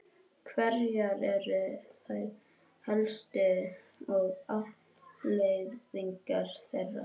Hverjar eru þær helstu og afleiðingar þeirra?